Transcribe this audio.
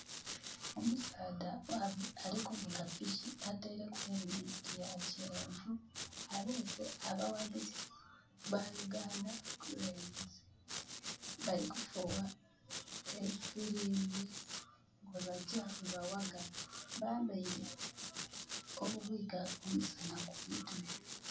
Omusaadha... alikuvuga piki ataireku helemeti ya kyenvu abuse abawagizi ba Uganda Cranes. Bali kufuuwa efirimbi webajja webawagga. Bambaire obubwika omussana ku mutwe